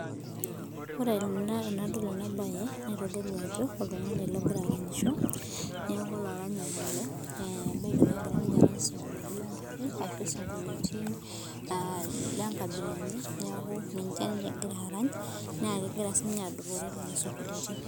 Ore ena bae nitodolu ajo oltungani ogira aranyisho niaku olaranyani ele naa ebiki negira aarany isinkoliotin lenkai ashu ilengabila enye niaku ninje ninye egira aarany naa kegira siininye adupore lelo sinkolioitin